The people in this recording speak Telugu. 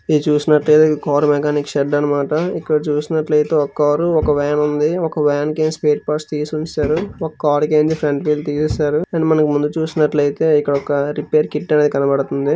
ఇది చూసినట్లయితే కార్ మెకానిక్ షెడ్ అన్నమాట. ఇక్కడ చూసినట్లయితే ఒక కారు ఒక వ్యాన్ ఉంది. ఒక వ్యాన్ కి స్పేర్ పార్ట్స్ తేసి ఉంచారు. ఒక కార్ కి ఫ్రంట్ వీల్ తీసేశారు. అండ్ మనం ముందు చూసినట్లయితే ఇక్కడొక రిపేర్ కిట్ అనేది కనపడుతుంది.